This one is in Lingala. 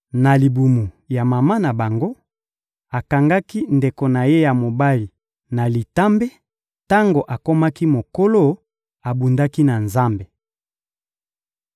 Na libumu ya mama na bango, akangaki ndeko na ye ya mobali na litambe; tango akomaki mokolo, abundaki na Nzambe.